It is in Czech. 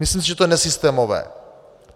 Myslím si, že to je nesystémové.